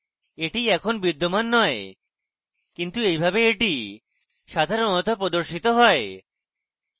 এটি এখন বিদ্যমান নয় কিন্তু এইভাবে এটি সাধারণত প্রদর্শিত হয়